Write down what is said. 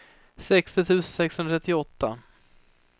sextio tusen sexhundratrettioåtta